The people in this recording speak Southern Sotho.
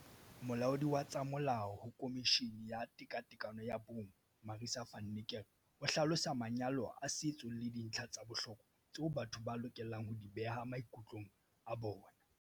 Molaodi wa tsa molao ho Khomishini ya Tekatekano ya Bong Marissa van Niekerk o hlalosa manyalo a setso le dintlha tsa bohlokwa tseo batho ba lokelang ho di beha maikutlong a bona.